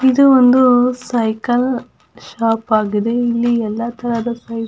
ಇದು ಒಂದು cycle shop ಆಗಿದೆ ಇಲ್ಲಿ ಎಲ್ಲ ತರದ ಸೈ --